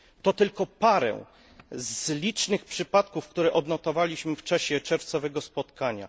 To tylko jeden z licznych przypadków, które odnotowaliśmy w czasie czerwcowego spotkania.